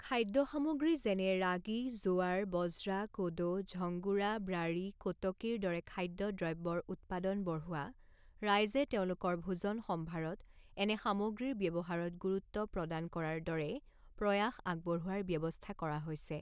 খাদ্য সামগ্ৰী যেনে ৰাগী, জোৱাৰ, বজ্ৰা, কোডো, ঝংগোৰা, ব্ৰাৰি, কোটকীৰ দৰে খাদ্য দ্ৰব্যৰ উত্পাদন বঢ়োৱা, ৰাইজে তেওঁলোকৰ ভোজন সম্ভাৰত এনে সামগ্ৰীৰ ব্যৱহাৰত গুৰুত্ব প্ৰাদান কৰাৰ দৰে প্ৰয়াস আগবঢ়োৱাৰ ব্যৱস্থা কৰা হৈছে।